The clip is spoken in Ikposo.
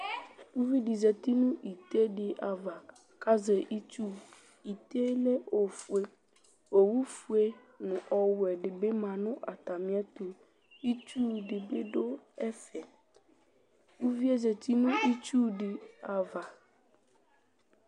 Uvi dɩ zati nʋ ite dɩ ava kʋ azɛ itsu Ite yɛ lɛ ofue Owufue nʋ ɔwɛ dɩ bɩ ma nʋ atamɩɛtʋ Itsu dɩ bɩ dʋ ɛfɛ Uvi yɛ zati nʋ itsu dɩ ava